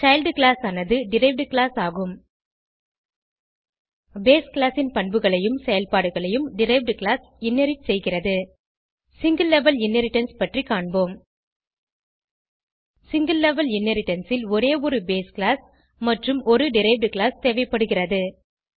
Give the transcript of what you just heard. child class ஆனது derived class ஆகும் base class ன் பண்புகளையும் செயல்பாடுகளையும் டெரைவ்ட் கிளாஸ் இன்ஹெரிட் செய்கிறது சிங்கில் லெவல் இன்ஹெரிடன்ஸ் பற்றி காண்போம் சிங்கில் லெவல் இன்ஹெரிடன்ஸ் ல் ஒரே ஒரு பேஸ் கிளாஸ் மற்றும் ஒரு டெரைவ்ட் கிளாஸ் தேவைப்படுகிறது